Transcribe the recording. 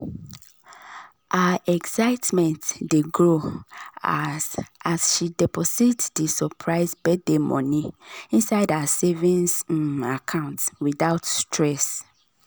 her excitement dey grow as as she deposit di surprise birthday money inside her savings um account without stress.